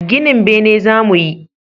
Ginin bene za mu yi